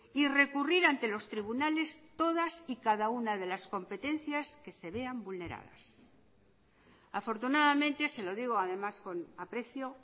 y recurrir ante los tribunales todas y cada una de las competencias que se vean vulneradas afortunadamente se lo digo además con aprecio